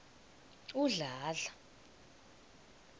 udladla